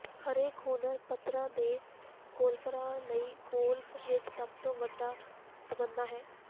ਹਰੇਕ ਹੁਨਰ ਪੱਧਰ ਦੇ ਗੋਲਫਰਾਂ ਲਈ ਗੋਲਫ ਵਿੱਚ ਸਭ ਤੋਂ ਵੱਡਾ ਤਮੰਨਾ ਹੈ